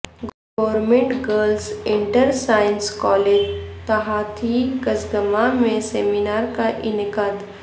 government girls inter science college تھاتھی کسگمہ میں سیمینار کا انعقاد